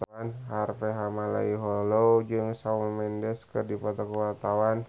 Harvey Malaiholo jeung Shawn Mendes keur dipoto ku wartawan